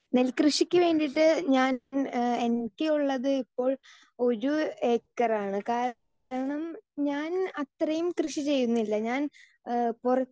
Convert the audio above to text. speaker 2 നെൽ കൃഷിക്ക് വേണ്ടീട്ട് ഞാൻ എനിക്ക് ഉള്ളത് ഇപ്പോൾ ഒരു ഏക്കറാണ് കാരണം ഞാൻ അത്രേം കൃഷി ചെയ്യുന്നില്ല ഞാൻ ഏഹ്